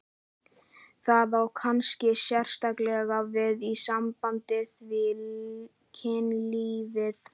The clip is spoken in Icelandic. Það á kannski sérstaklega við í sambandi við kynlífið.